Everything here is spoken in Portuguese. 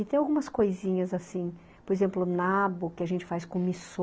E tem algumas coisinhas assim, por exemplo, o nabo que a gente faz com missô.